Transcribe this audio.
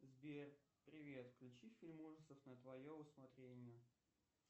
сбер привет включи фильм ужасов на твое усмотрение